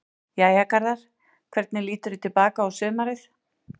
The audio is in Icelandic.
Jæja Garðar, hvernig líturðu til baka á sumarið?